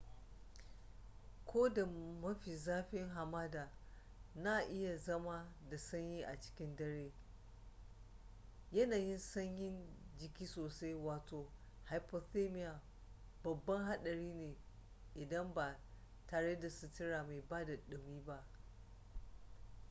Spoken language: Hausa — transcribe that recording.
ko da mafi zafin hamada na iya zama da sanyi a cikin dare yanayin sanyin jiki sosai wato hypothermia babban haɗari ne idan ba tare da sutura mai bada ɗumi ba